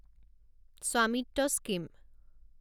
Svamitva scheme